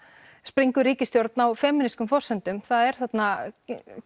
springur ríkisstjórn á forsendum það er þarna